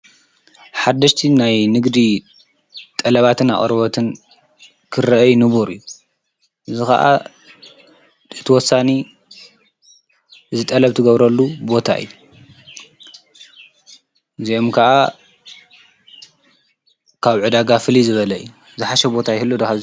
ሓድሽቲ ናይ ንግዲ ጠለባትን ኣቕርበትን ክርአይ ንቡር እዩ ዝኸዓ ደትወሳኒ ዝጠለብቲገብረሉ ቦታ እይ ዚእም ከዓ ካብ ዕዳጋፍል ዝበለይ ዝሓሸ ቦታ ይ ህሉ ዶ።